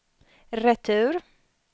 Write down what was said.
retur